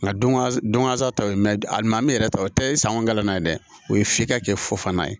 Nka don kasa tɔ ye mɛn alima min yɛrɛ ta o tɛ sangolana ye dɛ o ye f'i ka kɛ fo fana ye